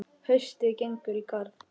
Haustið gengur í garð.